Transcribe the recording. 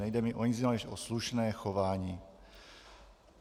Nejde mi o nic jiného než o slušné chování.